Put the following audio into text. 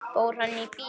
Fór hann í bíó?